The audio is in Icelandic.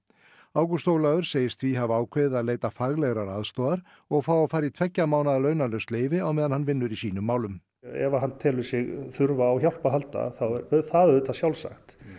ágúst Ólafur segist því hafa ákveðið að leita faglegrar aðstoðar og fá að fara í tveggja mánaða launalaust leyfi á meðan hann vinni í sínum málum ef hann telur sig þurfa á hjálp að halda þá er það auðvitað sjálfsagt